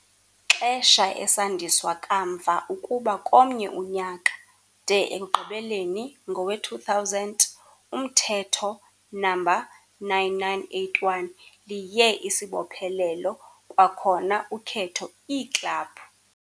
Xesha esandiswa kamva ukuba komnye unyaka, de ekugqibeleni, ngowe-2000, uMthetho No. 9981 liye isibophelelo, kwakhona ukhetho iiklabhu.